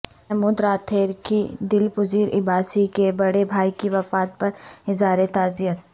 محمود راتھر کی دلپذیر عباسی کے بڑے بھائی کی وفات پر اظہار تعز یت